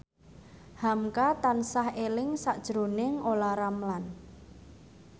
hamka tansah eling sakjroning Olla Ramlan